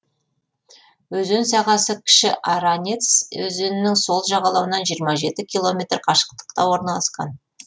өзен сағасы кіші аранец өзенінің сол жағалауынан жиырма жеті километр қашықтықта орналасқан